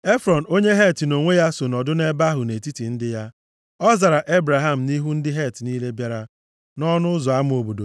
Efrọn onye Het nʼonwe ya so nọdụ nʼebe ahụ nʼetiti ndị ya. Ọ zara Ebraham nʼihu ndị Het niile bịara nʼọnụ ụzọ ama obodo